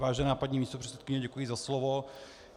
Vážená paní místopředsedkyně, děkuji za slovo.